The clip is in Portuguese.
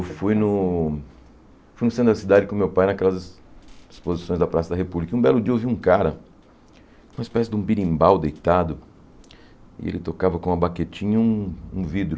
Eu fui no... fui no Céu da Cidade com o meu pai, naquelas exposições da Praça da República, e um belo dia eu vi um cara, uma espécie de um birimbau deitado, e ele tocava com uma baquetinha um um vidro.